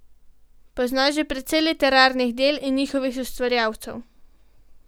Poznaš že precej literarnih del in njihovih ustvarjalcev.